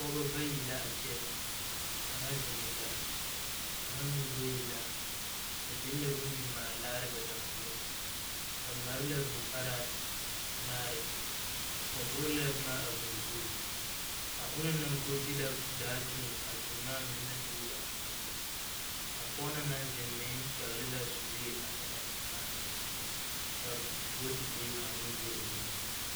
Pɔgeba bayi la a kyɛ kaŋa zeŋɛɛ la kaŋa meŋ goe la ba biŋ la bondilaare ba lomboeŋ ba mare la vūū parɛɛ anaare ba doglɛɛ boma a vūū zu a ona naŋ go de la daa tuŋ a seemaa mine naŋ dogle a vūū zu a pɔge meŋ naŋ zeŋ pɛgle la sulee ane a seemaa mine ka buutilee be o nuŋ.